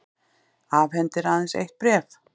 Afhendir aðeins eitt bréf